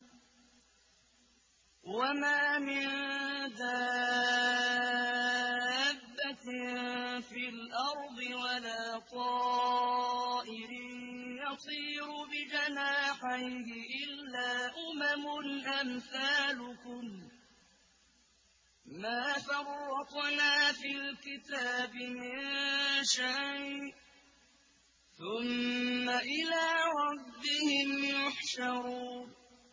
وَمَا مِن دَابَّةٍ فِي الْأَرْضِ وَلَا طَائِرٍ يَطِيرُ بِجَنَاحَيْهِ إِلَّا أُمَمٌ أَمْثَالُكُم ۚ مَّا فَرَّطْنَا فِي الْكِتَابِ مِن شَيْءٍ ۚ ثُمَّ إِلَىٰ رَبِّهِمْ يُحْشَرُونَ